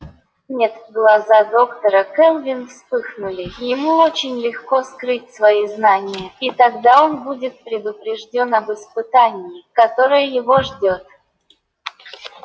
нет глаза доктора кэлвин вспыхнули ему очень легко скрыть свои знания и тогда он будет предупреждён об испытании которое его ждёт